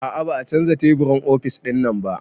A'a ba a canza teburin ofis ɗinnan ba